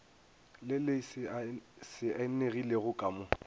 le le saenilego ka mo